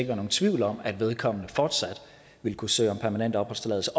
være nogen tvivl om at vedkommende fortsat vil kunne søge om permanent opholdstilladelse